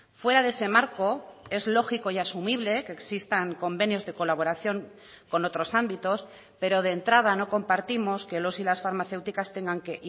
fuera de ese marco es lógico y asumible que existan convenios de colaboración con otros ámbitos pero de entrada no compartimos que los y las farmacéuticas tengan que